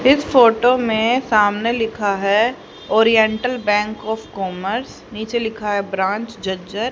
इस फोटो में सामने लिखा है और ओरिएंटल बैक और कौमर्स नीचे लिखा है ब्रांच जर्जर ।